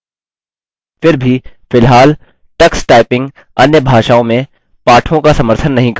फिर भी फिलहाल टक्स टाइपिंग अन्य भाषाओं में पाठों का समर्थन नहीं करता